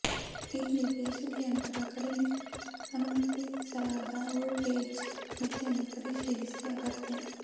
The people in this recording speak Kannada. ಇಲ್ಲಿ ಬೆಸುಗೆ ಯಂತ್ರ ಕಡಿಮೆ ಅನುಮತಿಸಲಾದ ವೋಲ್ಟೇಜ್ ಮಿತಿಯನ್ನು ಪರಿಶೀಲಿಸಿ ಅಗತ್ಯ